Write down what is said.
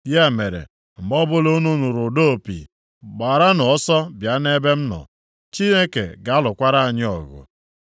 Ya mere, mgbe ọbụla unu nụrụ ụda opi, gbaranụ ọsọ bịa nʼebe m nọ. Chineke ga-alụkwara anyị ọgụ.”